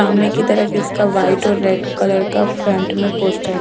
मने की तरफ इसका वाइट और रेड कलर का फ्रंट में पोस्ट .